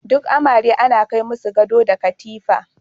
Duk amare ana kai masu gado da katifa.